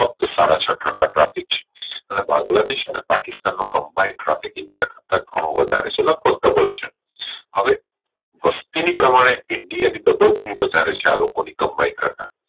ફક્ત સાડા છ ટકા traffic છે એટલે બાંગ્દેલાદેશ અને પાકિસ્તાન નો Combine traffic india કરતા ઘણું વધારે છે હવે વસ્તી ની પ્રમાણે india ની વધારે છે આ લોકો ની combine કરતા